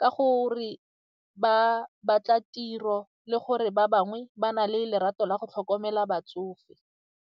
ka gore ba batla tiro le gore ba bangwe ba na le lerato la go tlhokomela batsofe.